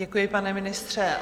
Děkuji, pane ministře.